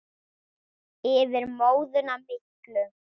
Yfir móðuna miklu.